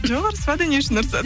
жоқ ұрыспады не үшін ұрысады